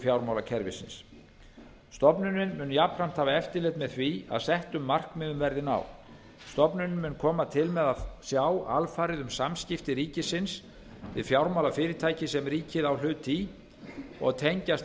fjármálakerfisins stofnunin mun jafnframt hafa eftirlit með því að settum markmiðum verði náð stofnunin mun koma til með að sjá alfarið um samskipti ríkisins við fjármálafyrirtæki sem ríkið á hluti í og tengjast